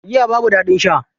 Giya babu daɗin sha.